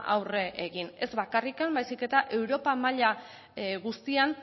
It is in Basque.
aurre egin ez bakarrik baizik eta europa maila guztian